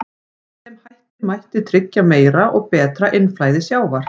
Með þeim hætti mætti tryggja meira og betra innflæði sjávar.